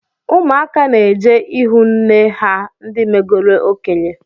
Ụmụaka na-eje ihụ nne ha ndi megoro okenye